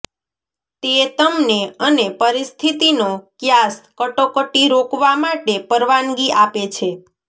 તે તમને અને પરિસ્થિતિનો ક્યાસ કટોકટી રોકવા માટે પરવાનગી આપે છે